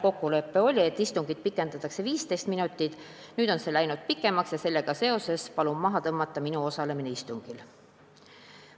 Ta ütles: "Kokkulepe oli pikendada istungit 15 minutit, nüüd on see läinud pikemaks ja sellega seoses palun maha tõmmata minu osalemine istungil.